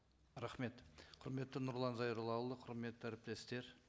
рахмет құрметті нұрлан зайроллаұлы құрметті әріптестер